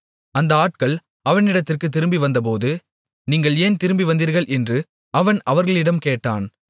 அந்த ஆட்கள் அவனிடத்திற்குத் திரும்பிவந்தபோது நீங்கள் ஏன் திரும்பிவந்தீர்கள் என்று அவன் அவர்களிடம் கேட்டான்